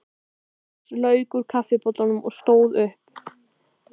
Drauma-Rósa lauk úr kaffibollanum og stóð upp.